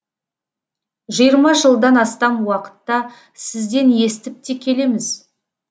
жиырма жылдан астам уақытта сізден естіп те келеміз